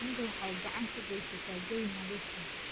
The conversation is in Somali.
Shinnidu waxay gacan ka geysataa jawi nadiif ah.